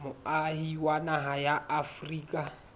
moahi wa naha ya afrika